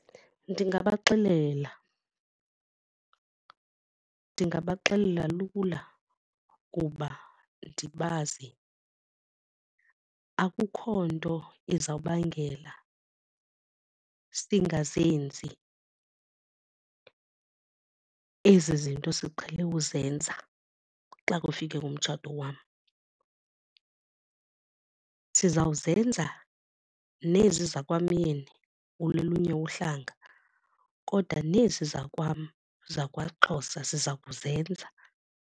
Ndingabaxelela, ndingabaxelela lula kuba ndibazi akukho nto izawubangela singazenzi ezi zinto siqhele uzenza xa kufike umtshato wam. Sizawuzenza nezi zakwamyeni wolunye uhlanga kodwa nezi zakwam zakwaXhosa siza kuzenza.